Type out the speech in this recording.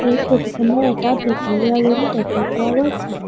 এই ফটো খনত এটা দীঘলীয়া ৰুম দেখা পোৱা গৈছে।